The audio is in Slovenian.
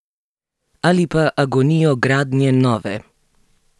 Ali pa agonijo gradnje nove?